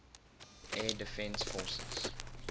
air defense forces